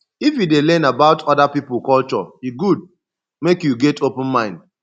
if you dey learn about oda pipo culture e good make you get open mind